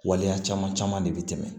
Waleya caman caman de bɛ tɛmɛ